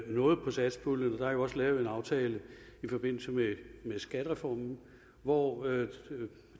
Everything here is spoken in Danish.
noget på satspuljen der er jo også lavet en aftale i forbindelse med skattereformen hvori